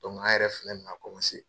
an yɛrɛ filɛ nin na